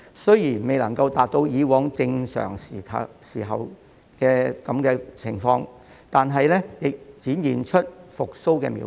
雖然未能達到以往正常時候的水平，但已展現出復蘇的苗頭。